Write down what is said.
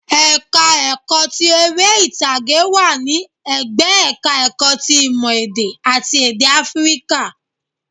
Ẹ̀ka ẹ̀kọ́ ti eré ìtàgé wà ní ẹ̀gbẹ́ ẹ̀ka ẹ̀kọ́ ti ìmọ̀ èdè àti èdè áfíríkà